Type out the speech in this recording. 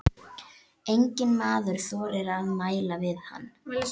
Engi maður þorði að mæla við hann.